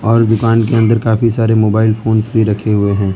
और दुकान के अंदर काफी सारे मोबाइल फोन्स भी रखे हुए हैं।